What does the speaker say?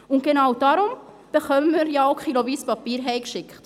Und genau darum erhalten wir ja auch kiloweise Papier nach Hause geschickt.